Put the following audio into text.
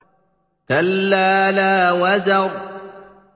كَلَّا لَا وَزَرَ